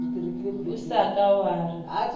o sa ka wa re